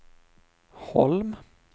Holm